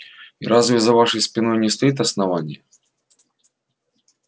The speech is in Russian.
и разве за вашей спиной не стоит основание